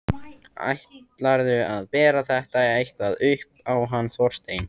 Ætlarðu að bera þetta eitthvað upp á hann Þorstein?